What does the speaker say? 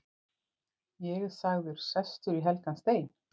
Ég er sagður sestur í helgan stein.